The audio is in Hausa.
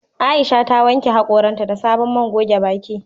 Aisha ta wanke hakoran ta da sabon man goge baki."